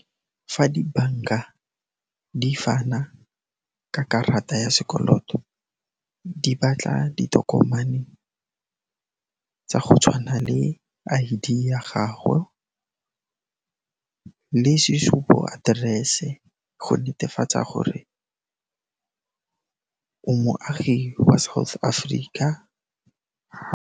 Fa dibanka di fana ka karata ya sekoloto, di batla ditokomane tsa go tshwana le I_D ya gago le sesupo-aterese go netefatsa gore o moagi wa South Africa.